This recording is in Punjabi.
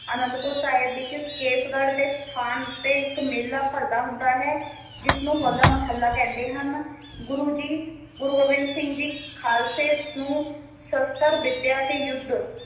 ਅਨੰਦਪੁਰ ਸਾਹਿਬ ਵਿਚ ਕੇਸਗੜ੍ਹ ਦੇ ਸਥਾਨ ਉੱਤੇ ਇੱਕ ਮੇਲਾ ਭਰਦਾ ਹੁੰਦਾ ਹੈ ਜਿਸ ਨੂੰ ਹੋਲਾ ਮੋਹੱਲਾ ਕਹਿੰਦੇ ਹਨ ਗੁਰੂ ਜੀ ਗੁਰੂ ਗੋਬਿੰਦ ਸਿੰਘ ਜੀ ਖਾਲਸੇ ਨੂੰ ਸ਼ਸਤਰ ਵਿਦਿਆ ਤੇ ਯੁੱਧ